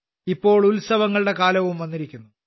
ഇപ്പോൾ ഉത്സവങ്ങളുടെ കാലവും വന്നിരിക്കുന്നു